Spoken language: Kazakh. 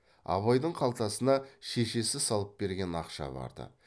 абайдың қалтасына шешесі салып берген ақша бар ды